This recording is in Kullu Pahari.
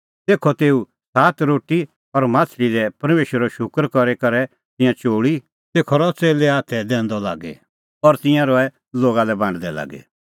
तेखअ तेऊ सात रोटी और माह्छ़ली लै परमेशरो शूकर करी करै तिंयां चोल़ी तेखअ रहअ च़ेल्ले हाथै रहअ दैंदअ लागी और तिंयां रहै लोगा लै बांडदै लागी